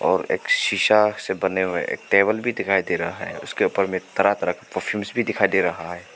और एक शीशा से बने हुए एक टेबल भी दिखाई दे रहा है उसके ऊपर में तरह तरह के परफ्यूम्स भी दिखाई दे रहा है।